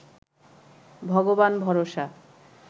ভগবান ভরসা